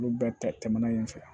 Olu bɛɛ tɛmɛnen fɛ